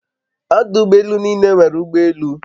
Odu ụgbọ elu n'ile nwere ụgbọ elu